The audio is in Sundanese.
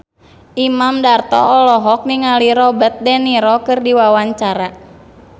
Imam Darto olohok ningali Robert de Niro keur diwawancara